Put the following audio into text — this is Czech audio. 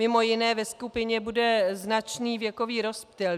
Mimo jiné ve skupině bude značný věkový rozptyl.